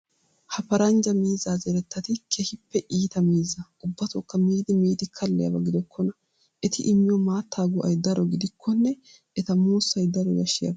Ha paranjja miizzaa zerettati keehippe iita miizza ubbatookka miidi miidi kalliyaaba gidokkona. Eti immiyoo maattaa go"ayi daro gidikkonne eta muussayi daro yaashshiyaaba.